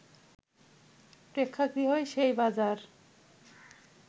প্রেক্ষাগৃহই সেই বাজার